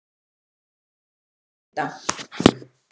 Belinda